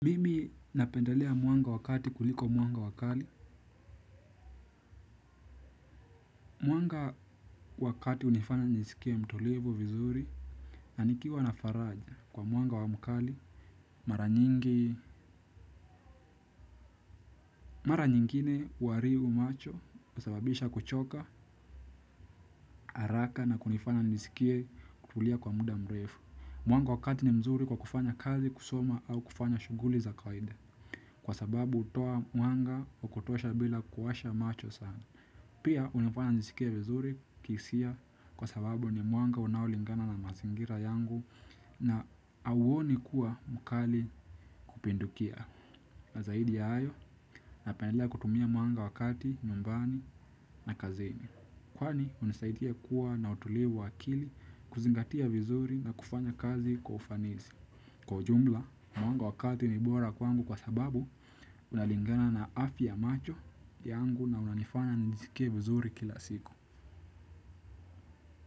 Mimi napendelea mwanga wa kati kuliko mwanga wa kali. Mwanga wa kati hunifana nijiskie mtulivu vizuri na nikiwa na faraja kwa mwanga wa mkali mara nyingi. Mara nyingine huharibu macho husababisha kuchoka, haraka na kunifanya niskie kulia kwa muda mrefu. Mwanga wakati ni mzuri kwa kufanya kazi kusoma au kufanya shughuli za kawaida. Kwa sababu hutoa mwanga wa kutosha bila kuwasha macho sana. Pia hunifanya niskie vizuri kihisia kwa sababu ni mwanga unaolingana na mazingira yangu na hauoni kuwa mkali kupindukia. Na zaidi ya hayo, napenda kutumia mwanga wa kati, nyumbani na kazini. Kwani hunisaidia kuwa na utulivu wa akili kuzingatia vizuri na kufanya kazi kwa ufanisi. Kwa ujumla, mwanga wa kati ni bora kwangu kwa sababu, unalingana na afya ya macho yangu na unanifanya nisjiskie vizuri kila siku.